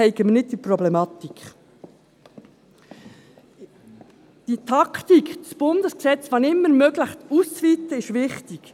Die Taktik, das Bundesgesetz, wenn immer möglich auszuweiten, ist wichtig.